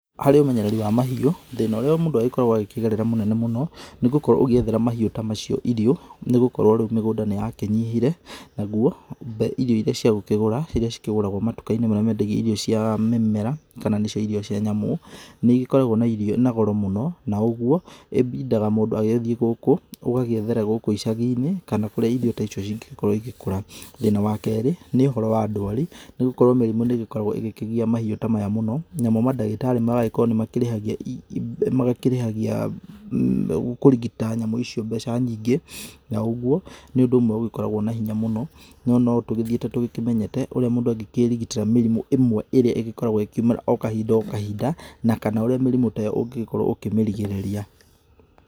Harĩ ũmenyereri wa mahiũ, thĩna ũrĩa mũndũ agĩkoragwo agĩkĩgerera mũnene mũno nĩ gũkorwo ũgĩethera mahiũ ta macio irio nĩgũkorwo rĩu mĩgũnda nĩ yakĩnyihire naguo irio irĩa ciagũkĩgũra irĩa cikĩgũragwo matukainĩ marĩa mendagia irio cia mĩmera kana nĩcio irio cia nyamũ, nĩ ikoragwo na goro mũno na ũguo ĩbindaga mũndũ agĩthiĩ gũkũ ũgagĩethara gũkũ icagi-inĩ kana kũrĩa irio ta icio cingĩkorwo igĩkura. Thĩna wa kerĩ nĩ ũhoro wa ndwari, nĩ gũkorwo mĩrimíũ nĩ ĩgĩkoragwo ĩgĩkĩgia mahiũ ta maya mũno, namo mandagĩtarĩ magagĩkorwo ni makĩrĩhagia, kũrigita nyamũ icio mbeca nyingĩ na ũguo nĩ ũndũ ũmwe ũgĩkoragwo na hinya mũno no notũgĩthiĩte tũgĩkĩmenyete ũrĩa mundũ angĩkĩrigitĩra mĩrimũ ĩmwe ĩrĩa ĩgĩkoragwo ĩkiumĩra o kahinda kahinda, na kana ũrĩa mĩrimũ ta ĩyo ũngĩgĩkorwa ũkĩmĩrigĩrĩria.